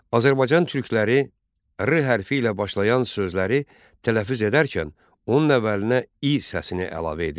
Azərbaycan türkləri 'R' hərfi ilə başlayan sözləri tələffüz edərkən onun əvvəlinə 'İ' səsini əlavə edirlər.